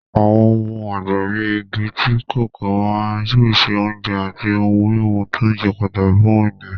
Àwọn ohun ọ̀gbìn bíi igi tíì kòkó máa ń pèsè oúnjẹ àti ohun-mímu tó ṣe pàtàkì fún ènìyàn.